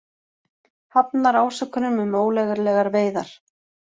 Hafnar ásökunum um ólöglegar veiðar